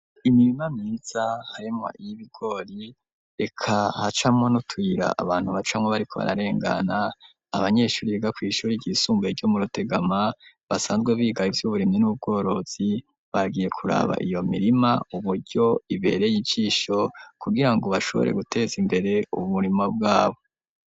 Imirima myiza harimwo iy'ibigori reka hacamwo nutuyira abantu bacamwo bariko bararengana, abanyeshuri biga kw'ishuri ry'isumbuye ryo mu Rutegama basanzwe biga ivy'uburimyi n'ubworozi, bagiye kuraba iyo mirima uburyo ibereye ijisho kugira ngo bashobore guteza imbere uburimo bwabo.